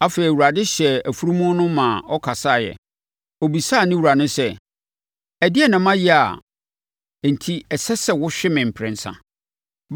Afei, Awurade hyɛɛ afunumu no ma ɔkasaeɛ! Ɔbisaa ne wura no sɛ, “Ɛdeɛn na mayɛ enti a ɛsɛ sɛ wohwe me mprɛnsa?”